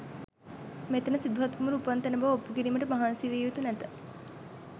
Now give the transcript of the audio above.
මෙතැන සිදුහත් කුමරු උපන් තැන බව ඔප්පු කිරීමට මහන්සි විය යුතු නැත.